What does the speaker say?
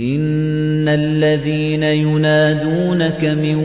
إِنَّ الَّذِينَ يُنَادُونَكَ مِن